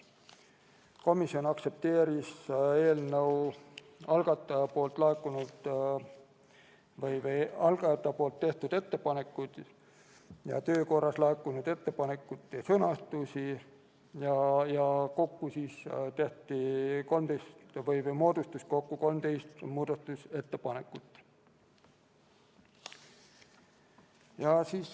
Komisjon aktsepteeris eelnõu algatajate tehtud ettepanekuid ja töö korras laekunud ettepanekute sõnastusi, millest kokku moodustus 13 muudatusettepanekut.